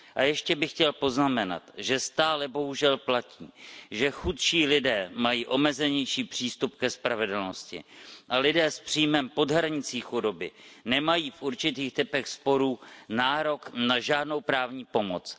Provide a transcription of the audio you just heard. Ještě bych chtěl poznamenat, že stále bohužel platí, že chudší lidé mají omezenější přístup ke spravedlnosti a lidé s příjmem pod hranicí chudoby nemají v určitých typech sporů nárok na žádnou právní pomoc.